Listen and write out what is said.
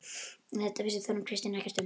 En þetta vissi Þórunn Kristín ekkert um.